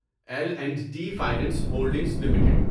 L and T finance holdings limited